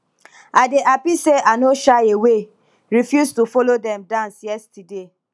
i dey happy say i no shy away refuse to follow dem dance yesterday